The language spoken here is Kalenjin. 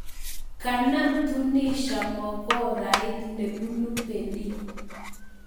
Kanam Tunisia mokorait nebunu Berlin.